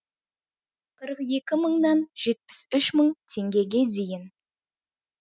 қырық екі мыңнан жетпіс үш мың теңгеге дейін